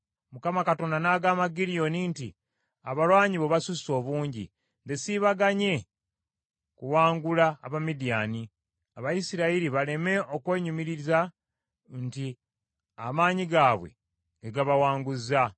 Mukama Katonda n’agamba Gidyoni nti, “Abalwanyi bo basusse obungi; nze sibaganye kuwangula Abamidiyaani, Abayisirayiri baleme okwennyumiriza nti amaanyi gaabwe ge gabawanguzza.